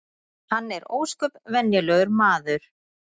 Hann er ósköp venjulegur maður